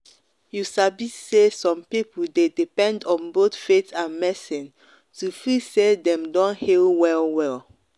you sabi say some people dey depend on both faith and medicine to feel say dem don heal well-well.